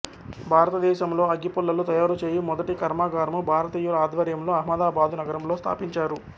భారతదేశంలో అగ్గిపుల్లలు తయారు చేయు మొదటి కర్మాగారము భారతీయుల ఆధ్వర్యంలో అహ్మదాబాదు నగరంలో స్థాపించారు